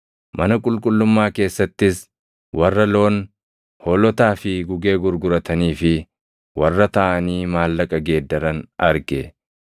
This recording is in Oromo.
Mana qulqullummaa keessattis warra loon, hoolotaa fi gugee gurguratanii fi warra taaʼanii maallaqa geeddaran arge.